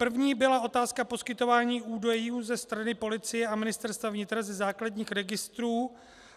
První byla otázka poskytování údajů ze strany policie a Ministerstva vnitra ze základních registrů